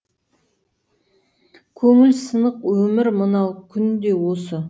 көңіл сынық өмір мынау күнде осы